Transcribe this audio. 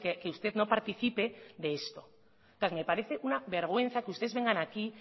que usted no participe de esto entonces me parece una vergüenza que ustedes vengan aquí